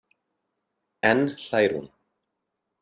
Enn hlær hún.